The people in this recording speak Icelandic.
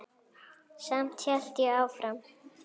Samt hélt ég áfram.